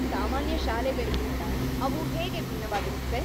ಸಾಮಾನ್ಯ ಶಾಲೆಗಳ್ಗಿಂತ ಅವು ಹೇಗೆ ಭಿನ್ನವಾಗಿರುತ್ವೆ?